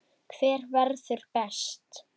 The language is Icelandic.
Hver verður best?